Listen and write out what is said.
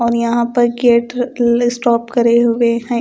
और यहाँ पर स्टॉप करे हुए है।